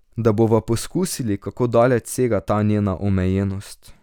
Da bova poskusili, kako daleč sega ta njena omejenost.